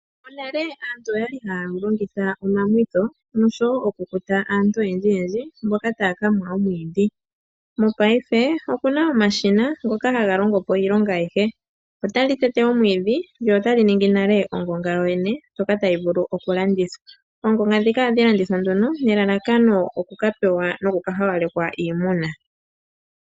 Monale aantu oyali haa longitha omamwitho nosho wo okukuta aantu oyendjiyendji mboka taaka mwa omwiidhi. Mopaife opuna omashina ngoka haga longo po iilonga ayihe. Otali tete omwiidhi lyo otali ningi nale ongonga yoyene ndjoka tayi vulu okulandithwa. Oongonga dhika ohadhi landithwa nduno nelalakano okakapewa nokukahawalekwa iimuna.